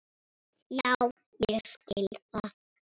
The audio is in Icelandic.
Já ég skil það.